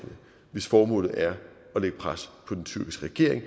hvis formål er at lægge pres på den tyrkiske regering